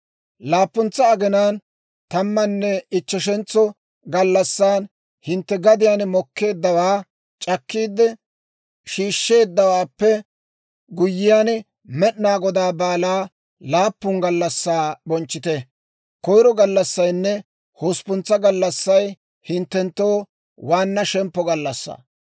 « ‹Laappuntsa aginaan tammanne ichcheshentso gallassan hintte gadiyaan mokkeeddawaa c'akkiide shiishsheeddawaappe guyyiyaan, Med'inaa Godaa baalaa laappun gallassaa bonchchite; koyiro gallassaynne hosppuntsa gallassay hinttenttoo waanna shemppo gallassaa.